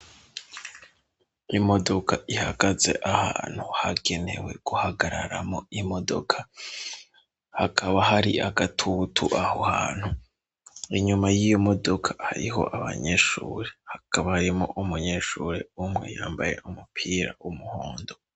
Imodoka, ihagaze ahantu hagenewe guhagararamwo imodoka, hakaba hari agatutu, aho hantu, inyuma y'iyo modoka, hariho abanyeshure, hakaba harimwo umunyeshure umwe yambaye umupira w'umuhondo.